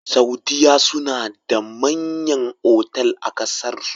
Saudiya suna da manyan otal a ƙasar su